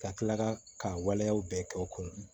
Ka kila ka ka waleyaw bɛɛ kɛ o kun